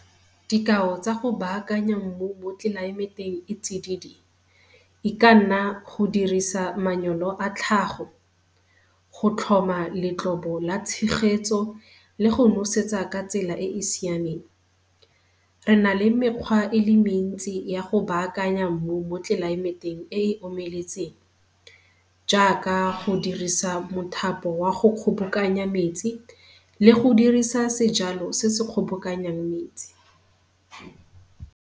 Dikao tsa go baakanya mmu mo go tlelaemeteng e e tsididi e ka nna go dirisa a tlhago, go tlhoma letlobo la tshegetso le go nosetsa ka tsela e e siameng. Re na le mekgwa e le mentsi ya go baakanya mmu mo tlelaemeteng e e omeletseng jaaka go dirisa mothapo wa go kgobokanya metsi le go dirisa sejalo se se kgobokanyang metsi.